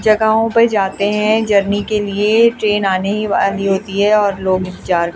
जगहों पर जाते हैं जर्नी के लिए ट्रेन आने ही वाली होती है और लोग इंतजार --